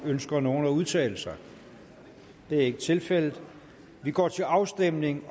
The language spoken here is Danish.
ønsker nogen at udtale sig det er ikke tilfældet og vi går til afstemning